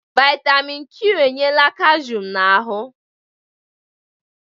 Vitamịn Kwi enyela kashụm n'ahụ.